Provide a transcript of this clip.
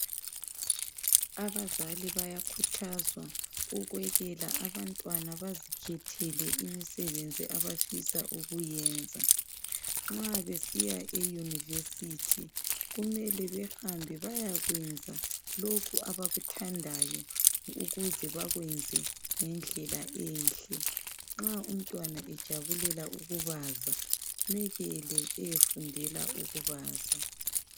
Abazali bayakhuthazwa ukwekela abantwana bazikhethele imisebenzi abafisa ukuyenza. Nxa besiya eyunivesithi kumele behambe bayakwenza lokhu abakuthandayo ukuze bakwenze ngendlela enhle. Nxa umntwana ejabulela ukubaza mekele eyefundela ukubaza.